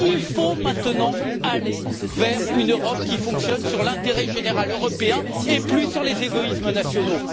Il faut maintenant aller vers une Europe qui fonctionne sur l'intérêt général européen et plus sur les égoïsmes nationaux.